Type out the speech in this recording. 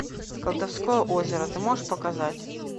колдовское озеро ты можешь показать